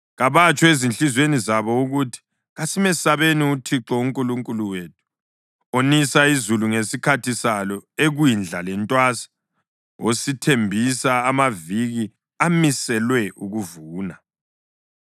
Kabatsho ezinhliziyweni zabo ukuthi, ‘Kasimesabeni uThixo uNkulunkulu wethu, onisa izulu ngesikhathi salo ekwindla lentwasa, osithembisa amaviki amiselwe ukuvuna.’